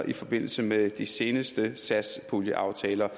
i forbindelse med de seneste satspuljeaftaler